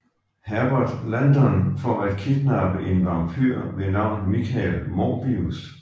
Herbert Landon for at kidnappe en vamphyr ved navn Michael Morbius